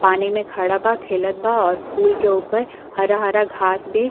पानी में खड़ा बा। खेलत बा और पोल के ऊपर हरा घास भी --